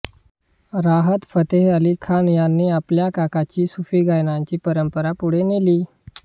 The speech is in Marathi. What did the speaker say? राहत फतेह अली खान यांनी आपल्या काकाची सुफी गायनाची परंपरा पुढे नेली